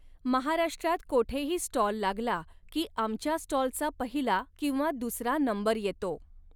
महाराष्ट्रात कोठेही स्टॉल लागला की आमच्या स्टॉलचा पहिला किंवा दुसरा नंबर येतो.